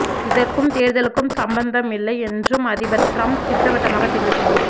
இதற்கும் தேர்தலுக்கும் சம்பந்தம் இல்லை என்றும் அதிபர் டிரம்ப் திட்டவட்டமாக தெரிவித்துள்ளார்